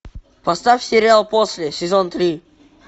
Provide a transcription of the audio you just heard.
поставь сериал после сезон три